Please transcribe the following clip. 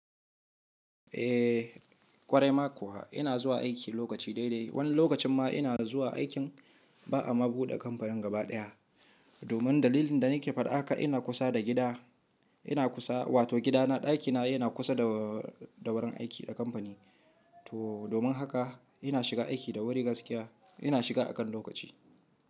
Eh, ƙware ma kuwa ina zuwa aiki lokaci dai dai. Wani lokacin ma ina zuwa aikin ba'a ma buɗe kamfanin gaba ɗaya. Domin dalilin da nake faɗa haka ina kusa da gida, ina kusa wato gida na ɗaki na yana kusa da, da wurin aiki na kamfani. To domin haka ina shiga aiki da wuri gaskiya ina shiga akan lokaci.